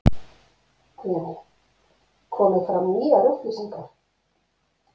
Guðný: Komið fram nýjar upplýsingar?